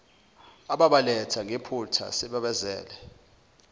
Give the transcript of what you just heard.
ababaletha ngephutha sebebazele